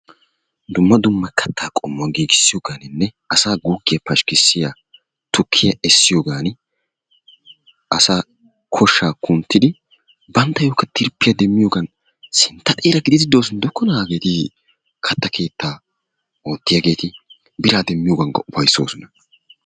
Dumma dumma kattaa qommuwaa giiggissiyooganinne asaa guggiya pashkkissiyaa tukkiyaa essiyoogan asaa koshsha kunttidi banttayokka tirpiya demmiyoogan sintta xeera gididi doosona gidokkona hageeti katta keettaaoottiyaageeti bira demmiyoogankka ufayssoosona.